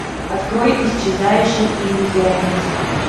открой исчезающий иллюзионист